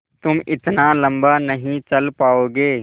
तुम इतना लम्बा नहीं चल पाओगे